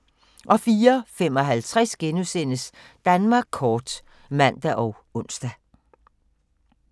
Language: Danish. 04:55: Danmark kort *(man og ons)